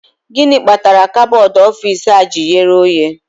Gịnị kpatara kabọọdụ ọfici a ji ghere oghe?